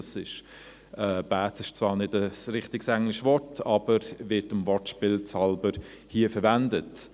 «Bads» ist zwar kein richtiges englisches Wort, aber es wird hier dem Wortspiel halber verwendet.